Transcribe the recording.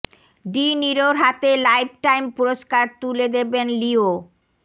D নিরোর হাতে lifetime পুরস্কার তুলে দেবেন লিও